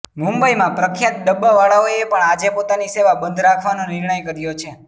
મુંબઈમાં પ્રખ્યાત ડબ્બાવાળાઓએ પણ આજે પોતાની સેવા બંધ રાખવાનો નિર્ણય કર્યો છે